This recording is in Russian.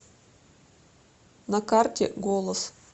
на карте голос